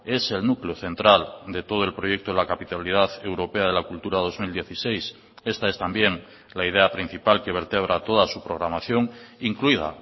es el núcleo central de todo el proyecto de la capitalidad europea de la cultura dos mil dieciséis esta es también la idea principal que vertebra toda su programación incluida